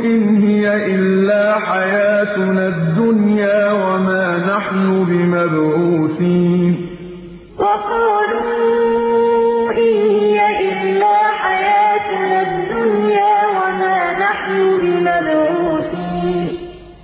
إِنْ هِيَ إِلَّا حَيَاتُنَا الدُّنْيَا وَمَا نَحْنُ بِمَبْعُوثِينَ وَقَالُوا إِنْ هِيَ إِلَّا حَيَاتُنَا الدُّنْيَا وَمَا نَحْنُ بِمَبْعُوثِينَ